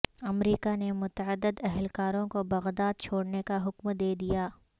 امریکا نے متعدد اہلکاروں کو بغداد چھوڑنے کا حکم دے دیا